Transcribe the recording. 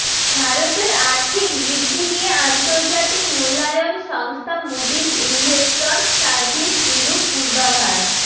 ভারতের আর্থিক বৃদ্ধি নিয়ে আন্তর্জাতিক মূল্যায়ন সংস্থা মুডিজ ইনভেস্টর্স সার্ভিস বিরূপ পূর্বাভাস